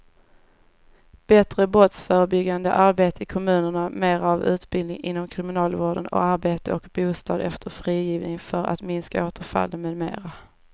Bättre brottsförebyggande arbete i kommunerna, mera av utbildning inom kriminalvården och arbete och bostad efter frigivningen för att minska återfallen med mera.